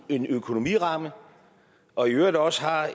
en økonomiramme og i øvrigt også har